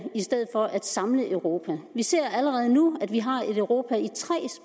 i stedet for at samle europa vi ser allerede nu at vi har et europa i tre